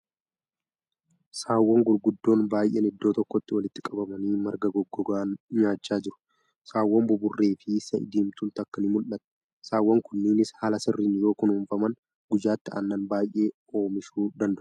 Saawwan gurguddoon baay'een iddoo tokkotti walittti qabamanii marga goggoogaa nyaachaa jiru. Saawwn buburree fi sa'i diimtuun takka ni mul'atti. Saawwan kunneenis haala sirriin yoo kunuunfaman guyyaatti aannan baay'ee oomishuu danda'u.